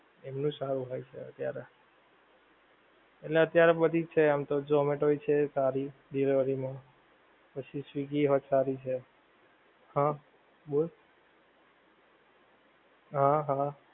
એમનું સારું હોય છે અત્યારે. એટલે અત્યારે બધી છે આમતો ઝોમેટો ય્ છે સારી, delivery માં, પછી સ્વીગી હોત સારી છે. હાં બોલ? હાં હાં